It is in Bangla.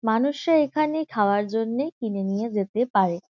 মানুষে এইখানে খাওয়ার জন্যে কিনে নিয়ে যেতে পারে।